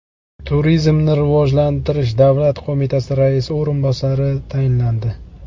Turizmni rivojlantirish davlat qo‘mitasi raisi o‘rinbosari tayinlandi.